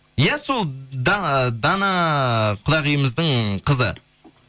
иә сол дана құдағиымыздың қызы